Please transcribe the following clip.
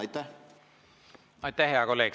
Aitäh, hea kolleeg!